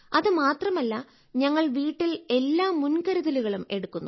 അത് മാത്രമല്ല ഞങ്ങൾ വീട്ടിൽ എല്ലാ മുൻകരുതലുകളും എടുക്കുന്നു